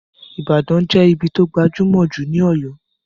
Ìbàdàn ní ibí tó gbajúmọ̀ jù ní Ọ̀yọ́